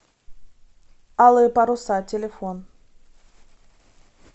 алые паруса телефон